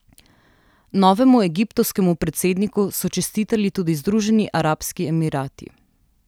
Novemu egiptovskemu predsedniku so čestitali tudi Združeni arabski emirati.